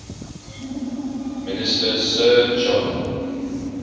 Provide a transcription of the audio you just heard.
minister sir john